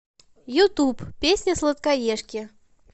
ютуб песня сладкоежки